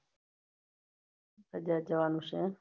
બજાર જવાનું છે એમ